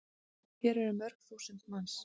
Hér eru mörg þúsund manns.